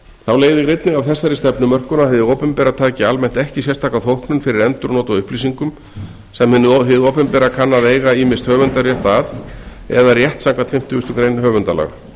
þá leiðir einnig af þessari stefnumörkun að hið opinbera taki almennt ekki sérstaka þóknun fyrir endurnot á upplýsingum sem hið opinbera kann að eiga ýmist höfundarétt að eða rétt samkvæmt fimmtugustu grein höfundalaga